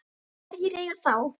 Hverjir eiga þá?